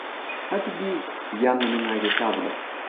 ꯑꯗꯨꯗꯤ ꯌꯥꯝꯅ ꯅꯨꯡꯉꯥꯏꯔꯦ ꯇꯥꯕꯗ꯫